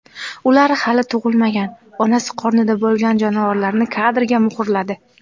Ular hali tug‘ilmagan, onasi qornida bo‘lgan jonivorlarni kadrga muhrladi.